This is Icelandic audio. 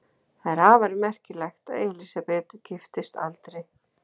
Það er afar merkilegt að Elísabet giftist aldrei.